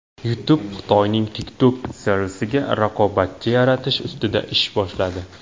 YouTube Xitoyning TikTok servisiga raqobatchi yaratish ustida ish boshladi.